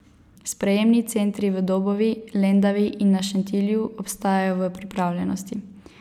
Sprejemni centri v Dobovi, Lendavi in na Šentilju ostajajo v pripravljenosti.